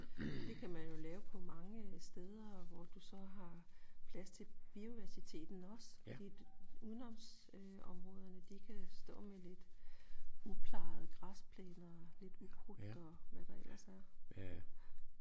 Det kan man jo lave på mange øh steder hvor du så har plads til biodiversiteten også i et udenoms øh områderne de kan stå med lidt uplejede græsplæner lidt ukrudt og hvad der ellers er